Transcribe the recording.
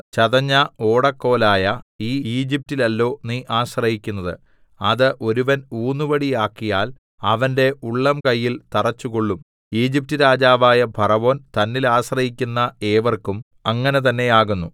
ചതഞ്ഞ ഓടക്കോലായ ഈ ഈജിപ്റ്റിലല്ലോ നീ ആശ്രയിക്കുന്നത് അത് ഒരുവൻ ഊന്നുവടിയാക്കിയാൽ അവന്റെ ഉള്ളംകയ്യിൽ തറച്ചുകൊള്ളും ഈജിപ്റ്റ് രാജാവായ ഫറവോൻ തന്നിൽ ആശ്രയിക്കുന്ന ഏവർക്കും അങ്ങനെ തന്നെയാകുന്നു